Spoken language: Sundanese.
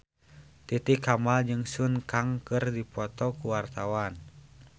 Titi Kamal jeung Sun Kang keur dipoto ku wartawan